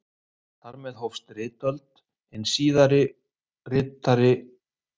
Þar með hófst ritöld og hin ritaða saga mannkyns.